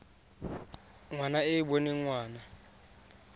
ngwana e e boneng ngwana